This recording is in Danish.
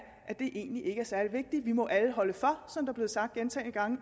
at det egentlig ikke er særlig vigtigt vi må alle holde for som der er blevet sagt gentagne gange